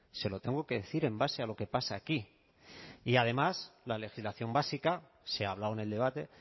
se lo tengo que decir en base a lo que pasa aquí y además la legislación básica se ha hablado en el debate